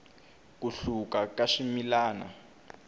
ku hluka ka swimilana